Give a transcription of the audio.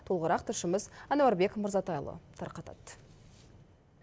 толығырақ тілшіміз әнуарбек мырзатайұлы тарқатады